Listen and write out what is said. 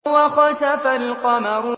وَخَسَفَ الْقَمَرُ